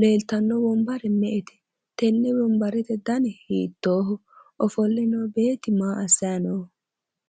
?leeltani no wonbare me'ete?, tenne wonbarete dani hiittooho ?,ofolle noo beetti maa assanni nooho?